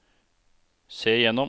se gjennom